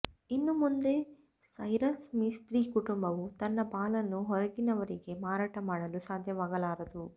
ಇನ್ನು ಮುಂದೆ ಸೈರಸ್ ಮಿಸ್ತ್ರಿ ಕುಟುಂಬವು ತನ್ನ ಪಾಲನ್ನು ಹೊರಗಿನವರಿಗೆ ಮಾರಾಟ ಮಾಡಲು ಸಾಧ್ಯವಾಗಲಾರದು